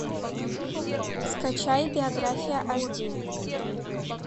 скачай биография аш ди